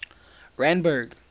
randburg